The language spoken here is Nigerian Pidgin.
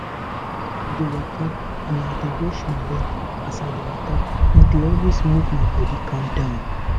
if i dey waka and i dey watch my leg as i dey waka e dey always make my body calm down